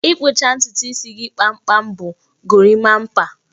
Ị kpụcha ntutu isi kpamkpam bụ gorimapa